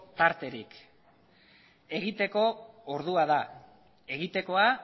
tarterik egiteko ordua da egitekoa